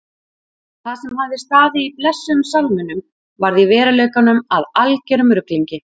Það sem hafði staðið í blessuðum sálminum varð í veruleikanum að algerum ruglingi.